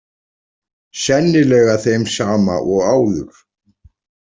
Sennilega þeim sama og áður.